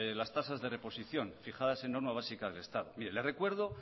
las tasas de reposición en normas básicas del estado mire le recuerdo